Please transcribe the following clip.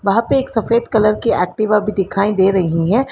वहां पर एक सफेद कलर की एक्टिवा भी दिखाई दे रही है।